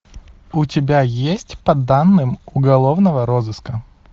у тебя есть по данным уголовного розыска